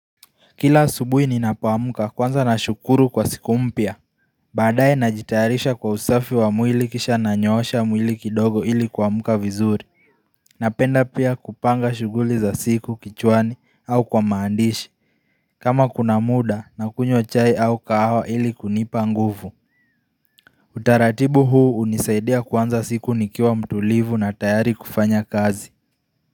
Kila asubuhi ninapoamka kwanza nashukuru kwa siku mpya baadaye najitayarisha kwa usafi wa mwili kisha nanyoosha mwili kidogo ili kuamka vizuri Napenda pia kupanga shughuli za siku kichwani au kwa maandishi kama kuna mda nakunywa chai au kahawa ili kunipa nguvu Utaratibu huu hunisaidia kuanza siku nikiwa mtulivu na tayari kufanya kazi.